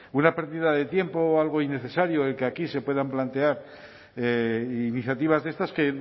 una pérdida de tiempo o algo innecesario el que aquí se puedan plantear iniciativas de estas que